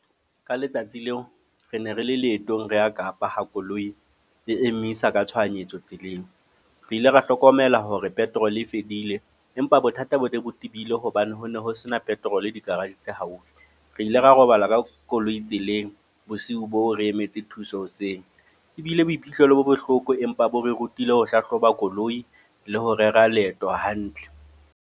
Ka letsatsi leo, re ne re le leetong re a Kapa ha koloi re emisa ka tshohanyetso tseleng. Re ile ra hlokomela hore petrol e fedile. Empa bothata bo ne bo tibile, hobane ho ne ho sena petrol di-garage tse haufi. Re ile ra robala ka koloi tseleng, bosiu bo re emetse thuso hoseng. Ebile boiphihlelo bo bohloko, empa bo re rutile ho hlahloba koloi le ho rera leeto hantle.